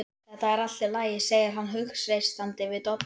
Þetta er allt í lagi, segir hann hughreystandi við Dodda.